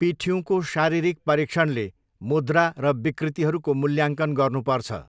पिठ्युँको शारीरिक परीक्षणले मुद्रा र विकृतिहरूको मूल्याङ्कन गर्नुपर्छ।